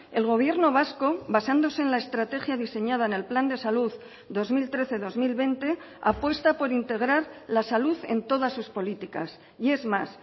el gobierno vasco basándose en la estrategia diseñada en el plan de salud dos mil trece dos mil veinte apuesta por integrar la salud en todas sus políticas y es más